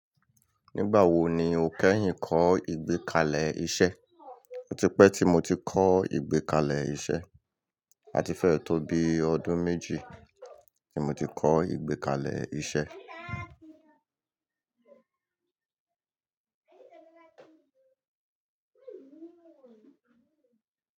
Nígbà wo ni o kẹ́yìn kọ́ ìgbékalẹ̀ iṣẹ́? Ó ti pẹ́ tí mo ti kọ́ ìgbékalẹ̀ iṣẹ́. A ti fẹ́ tó bi ọdún méjì tí mo ti kọ́ ìgbékalẹ̀ iṣẹ́.